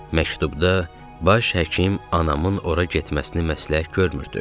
Məktubda baş həkim anamın ora getməsini məsləhət görmürdü.